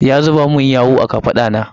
Ya zuba min yawu a kafaɗa na.